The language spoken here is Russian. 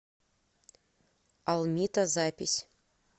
алмита запись